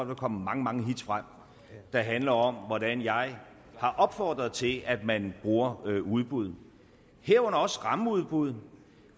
vil komme mange mange hits frem der handler om hvordan jeg har opfordret til at man bruger udbud herunder også rammeudbud